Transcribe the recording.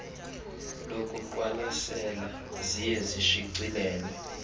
lokuqwalasela ziye zishicilelwe